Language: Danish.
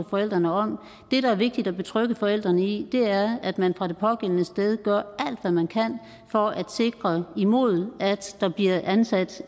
forældrene om det der er vigtigt at betrygge forældrene i er at man fra det pågældende sted gør alt hvad man kan for at sikre imod at der bliver ansat